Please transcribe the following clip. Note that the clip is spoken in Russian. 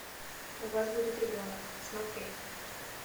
у вас будет ребенок смотреть